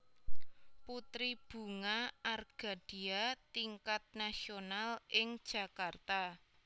Putri Bunga Argadia Tingkat Nasional ing Jakarta